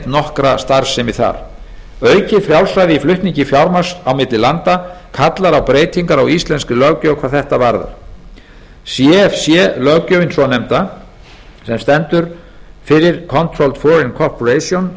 nokkra starfsemi þar aukið frjálsræði í flutningi fjármagns á milli landa kallar á breytingar á íslenskri löggjöf hvað þetta varðar cfc löggjöfin svonefnda sem stendur fyrir controlled foreign corporation